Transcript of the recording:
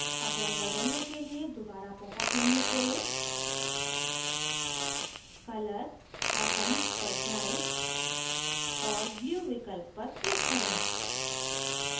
अब रंग बदलने के लिए दोबारा popअप menu खोलें color atoms पर जाएँ और blue विकल्प पर click करें